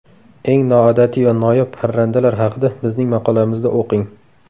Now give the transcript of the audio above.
Eng noodatiy va noyob parrandalar haqida bizning maqolamizda o‘qing.